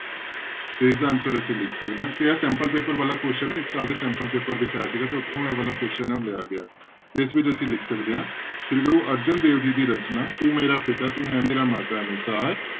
ਤੇ ਇਸਦਾ answer ਅਸੀਂ ਲਿਖ ਸਕਦੇ ਹਾਂ ਤੇ ਇਹ sample ਪੇਪਰ ਵਾਲਾ question ਹੈ ਇਸ ਸਾਲ ਦੇ sample ਪੇਪਰ ਵਿੱਚ ਆਇਆ ਸੀਗਾ ਤੇ ਉੱਥੋਂ ਇਹ ਵਾਲਾ question ਹੈ ਉਹ ਲਿਆ ਗਿਆ ਤੇ ਇਸ ਵਿੱਚ ਅਸੀਂ ਲਿਖ ਸਕਦੇ ਹਾਂ, ਸ੍ਰੀ ਗੁਰੂ ਅਰਜਨ ਦੇਵ ਜੀ ਦੀ ਰਚਨਾ ਤੂੰ ਮੇਰਾ ਪਿਤਾ ਤੂੰ ਹੈ ਮੇਰਾ ਮਾਤਾ ਅਨੁਸਾਰ